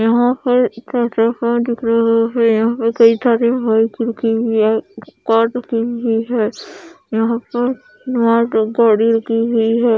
यहां पर जैसे कार दिख रही है यहां पर कई सारी बाइक रुकी हुई है कार रुकी हुई है यहां पर मात्र गाड़ी रुकी हुई है।